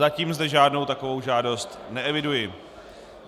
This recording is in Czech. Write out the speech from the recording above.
Zatím zde žádnou takovou žádost neeviduji.